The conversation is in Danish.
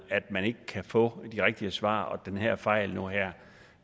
at man ikke kan få de rigtige svar på hvordan den her fejl her